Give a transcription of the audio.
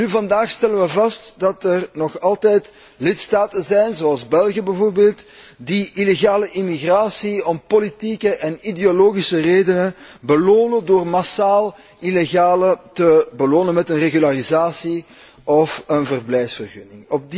Welnu, vandaag stellen wij vast dat er nog altijd lidstaten zijn, zoals bijvoorbeeld België, die illegale immigratie om politieke en ideologische redenen belonen, door massaal illegalen te belonen met een regularisatie of een verblijfsvergunning.